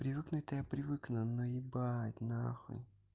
привыкнуть то я привыкну но ебать нахуй